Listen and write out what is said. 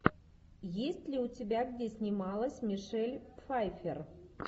есть ли у тебя где снималась мишель пфайфер